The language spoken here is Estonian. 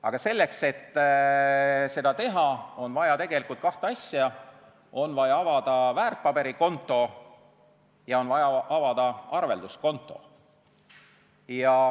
Aga selleks, et seda teha, on vaja kahte asja: on vaja avada väärtpaberikonto ja on vaja avada arvelduskonto.